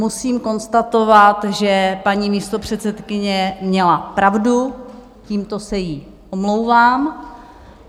Musím konstatovat, že paní místopředsedkyně měla pravdu, tímto se jí omlouvám.